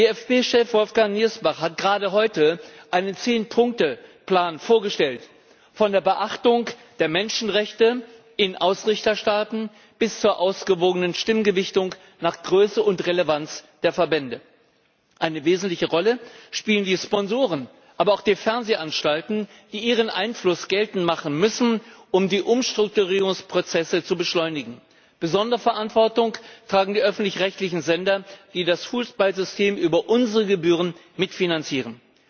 DFB Chef Wolfgang Niersbach hat gerade heute einen 10 Punkte Plan vorgestellt, von der Beachtung der Menschenrechte in Ausrichterstaaten bis zur ausgewogenen Stimmgewichtung nach Größe und Relevanz der Verbände. Eine wesentliche Rolle spielen die Sponsoren, aber auch die Fernsehanstalten, die ihren Einfluss geltend machen müssen, um die Umstrukturierungsprozesse zu beschleunigen. Besondere Verantwortung tragen die öffentlich rechtlichen Sender, die das Fußballsystem über unsere Gebühren mitfinanzieren.